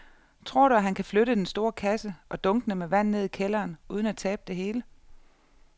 Tror du, at han kan flytte den store kasse og dunkene med vand ned i kælderen uden at tabe det hele?